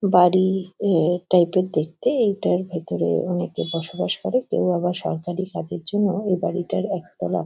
বাড়ি এ টাইপ -এর দেখতে। এইটার ভেতরে অনেকে বসবাস করে। কেউ আবার সরকারি কাজের জন্য এই বাড়িটার একতলা।